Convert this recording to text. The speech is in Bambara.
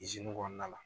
kɔnɔna la